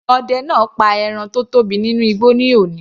Ọdẹ náà pa ẹran tó tóbi nínú igbó ní òní.